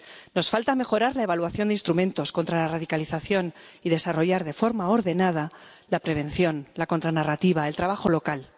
Nos falta mejorar la evaluación de instrumentos contra la radicalización y desarrollar de forma ordenada la prevención, la contranarrativa, el trabajo local.